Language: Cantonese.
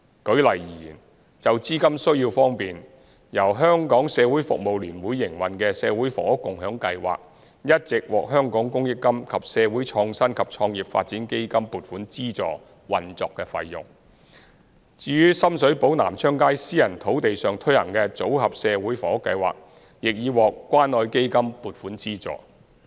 舉例而言，就資金需要方面，由社聯營運的社會房屋共享計劃一直獲香港公益金及社會創新及創業發展基金撥款資助運作費用。至於深水埗南昌街私人土地上推行的組合社會房屋計劃亦已獲關愛基金撥款資助。